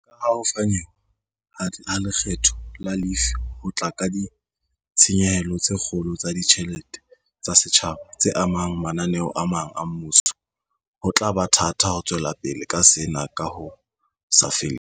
Kaha ho fanyehwa ha lekgetho la lefii ho tla ka ditshenyehelo tse kgolo tsa ditjhelete tsa setjhaba, tse amang mananeo a mang a mmuso, ho tla ba thata ho tswelapele ka sena ka ho sa feleng.